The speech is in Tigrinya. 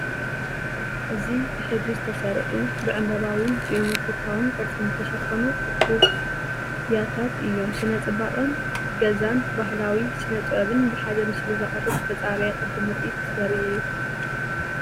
እዚ ብሕብሪ ዝተሰርዑ፡ ብዕምባባውን ጂኦሜትሪካውን ቅርጺ ዝተሸፈኑ እኩብ ብያትታት እዮም። ስነ-ጽባቐ ገዛን ባህላዊ ስነ-ጥበብን ብሓደ ምስሊ ዘቕርብ ዝተጸረየ ቅዲ ምርኢት ዘርኢ እዩ።